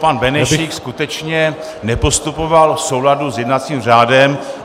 Pan Benešík skutečně nepostupoval v souladu s jednacím řádem.